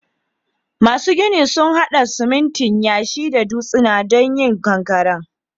Masun ginin sun hada siminti, yashi da dutsuna domin yin ƙankaren.